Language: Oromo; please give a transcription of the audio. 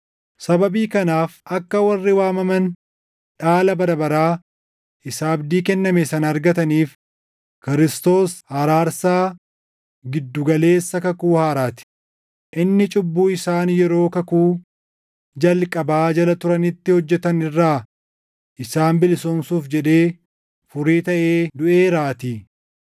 Sababii kanaaf akka warri waamaman dhaala bara baraa isa abdii kenname sana argataniif Kiristoos araarsaa gidduu galeessa kakuu haaraa ti; inni cubbuu isaan yeroo kakuu jalqabaa jala turanitti hojjetan irraa isaan bilisoomsuuf jedhee furii taʼee duʼeeraatii.